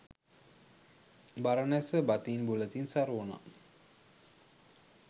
බරණැස බතින් බුලතින් සරු වුණා.